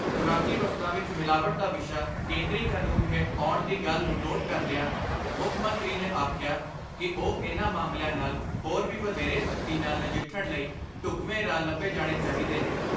ਖੁਰਾਕੀ ਵਸਤਾਂ ਵਿੱਚ ਮਿਲਾਵਟ ਦਾ ਵਿਸ਼ਾ ਕੇਂਦਰੀ ਕਾਨੂੰਨ ਹੇਠ ਆਉਣ ਦੀ ਗੱਲ ਨੂੰ ਨੋਟ ਕਰਦਿਆਂ ਮੁੱਖ ਮੰਤਰੀ ਨੇ ਆਖਿਆ ਕਿ ਉਹ ਇਨ੍ਹਾਂ ਮਾਮਲਿਆਂ ਨਾਲ ਹੋਰ ਵੀ ਵਧੇਰੇ ਸਖਤੀ ਨਾਲ ਨਜਿੱਠਣ ਲਈ ਢੁੱਕਵੇਂ ਰਾਹ ਲੱਭੇ ਜਾਣੇ ਚਾਹੀਦੇ ਨੇ।